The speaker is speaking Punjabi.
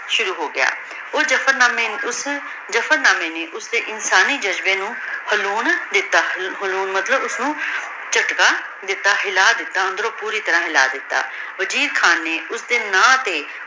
ਸ਼ੁਰੂ ਹੋਗਯਾ ਊ ਜਬਰ ਨਾਮੀ ਓਸ ਜਬਰ ਨਾਮੀ ਨੇ ਓਸਦੀ ਇਨਸਾਨੀ ਜਜ਼ਬੇ ਨੂ ਹਿਲੋੰ ਦਿਤਾ ਮਤਲਬ ਓਸਨੂ ਝਟਕਾ ਦਿਤਾ ਹਿਲਾ ਦਿਤਾ ਅੰਦਰੋਂ ਪੋਰੀ ਤਰਹ ਹਿਲਾ ਦਿਤਾ ਵਜੀਰ ਖਾਨ ਨਾਯ੍ਨੋਸ੍ਡੀ ਨਾਮ ਤੇ